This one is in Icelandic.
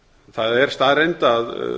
það er staðreynd að